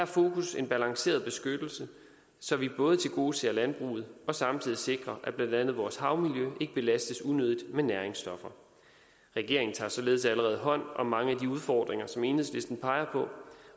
fokus en balanceret beskyttelse så vi både tilgodeser landbruget og samtidig sikrer at blandt andet vores havmiljø ikke belastes unødigt med næringsstoffer regeringen tager således allerede hånd om mange af de udfordringer som enhedslisten peger på